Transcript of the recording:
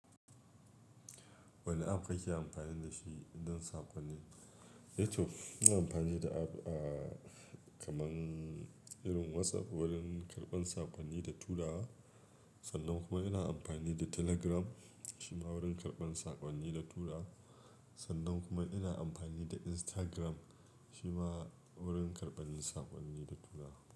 Wanne app kake amfani da shi don saƙonni? Ehh to ina amfani da app, ah, kaman irin WhatsApp wurin karɓan saƙonni da turawa. Sannan kuma ina amfani da Telegram shima wurin karɓar saƙonni da tura. Sannan kuma ina amfani da Instagram shima wurin karɓan saƙonni da tura.